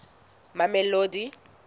mamelodi